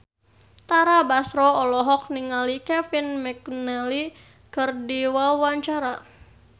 Tara Basro olohok ningali Kevin McNally keur diwawancara